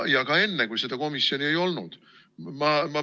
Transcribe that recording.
Ja ka enne, kui seda komisjoni ei olnud.